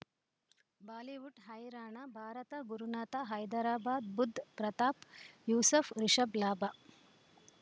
Bollywood ಹೈರಾಣ ಭಾರತ ಗುರುನಾಥ ಹೈದರಾಬಾದ್ ಬುಧ್ ಪ್ರತಾಪ್ ಯೂಸುಫ್ ರಿಷಬ್ ಲಾಭ